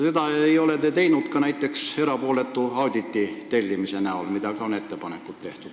Seda ei ole te teinud, jättes näiteks tellimata erapooletu auditi, kuigi selliseid ettepanekuid on tehtud.